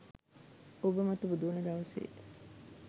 ඔබ මතු බුදු වන දවසේ